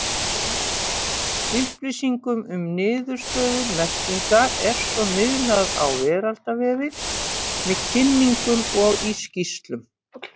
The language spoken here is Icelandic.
Upplýsingum um niðurstöður merkinga er svo miðlað á veraldarvefinn, með kynningum og í skýrslum.